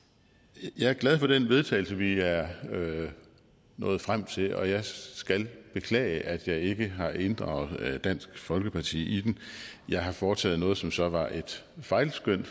jeg er glad for det forslag til vedtagelse vi er nået frem til og jeg skal beklage at jeg ikke har inddraget dansk folkeparti i det jeg har foretaget noget som så var et fejlskøn